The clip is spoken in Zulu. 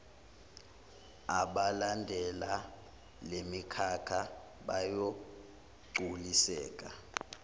abalandela lemikhakha bayogculiseka